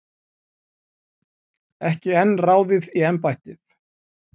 Ekki enn ráðið í embættið